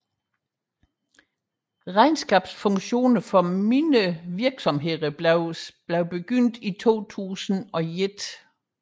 Regnskabsfunktioner for mindre virksomheder blev påbegyndt i 2001